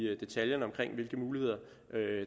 detaljerne omkring hvilke muligheder